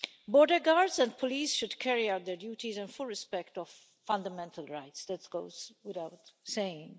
Border guards and police should carry out their duties in full respect of fundamental rights that goes without saying.